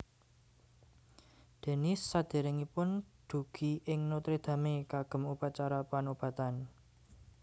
Denis sadèrèngipun dugi ing Notre Dame kagem upacara panobatan